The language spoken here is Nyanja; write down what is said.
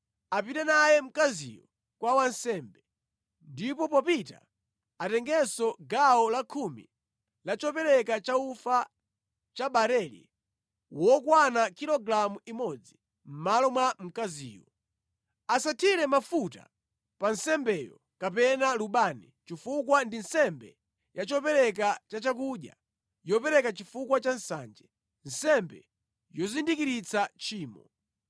apite naye mkaziyo kwa wansembe. Ndipo popita atengenso gawo lakhumi la chopereka chaufa wa barele wokwana kilogalamu imodzi mʼmalo mwa mkaziyo. Asathire mafuta pa nsembeyo kapena lubani, chifukwa ndi nsembe ya chopereka ya chakudya yopereka chifukwa cha nsanje, nsembe yozindikiritsa tchimo.’ ”